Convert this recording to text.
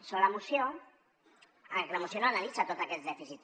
sobre la moció la moció no analitza tot aquest dèficit